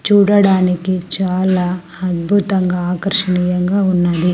చూడడానికి చాలా అద్భుతంగా ఆకర్షణీయంగా ఉన్నది.